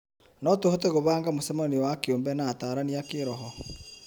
No tũhote gũbanga mũcemanio wa kĩũmbe na atarani a kĩroho